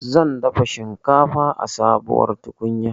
Zan dafa shinkafa a sabuwar tukunya